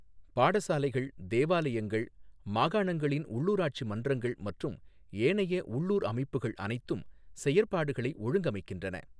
பாடசாலைகள், தேவாலயங்கள், மாகாணங்களின் உள்ளூராட்சி மன்றங்கள் மற்றும் ஏனைய உள்ளூர் அமைப்புக்கள் அனைத்தும் செயற்பாடுகளை ஒழுங்கமைக்கின்றன.